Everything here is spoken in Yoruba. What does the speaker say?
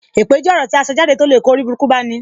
Èpè jẹ́ ọ̀rọ̀ tí aṣọ jáde to lè kó oriburuku bá ní.